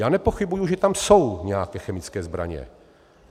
Já nepochybuji, že tam jsou nějaké chemické zbraně.